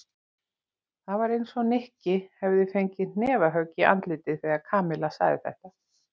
Það var eins og Nikki hefði fengið hnefahögg í andlitið þegar Kamilla sagði þetta.